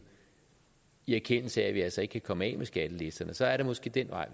i erkendelse af at vi altså ikke kan komme af med skattelisterne så er det måske den vej